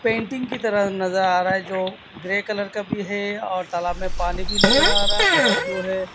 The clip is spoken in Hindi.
पेंटिंग की तरह नजर आ रहा है जो ग्रे कलर का भी है और तालाब में पानी भी नजर आ रहा है और जो है।